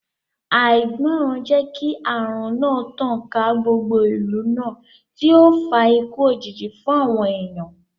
Àìgbọràn jẹ́ kí ààrùn náà tàn ká gbogbo ìlú náà tí ó fa ikú òjijì fún àwọn èèyàn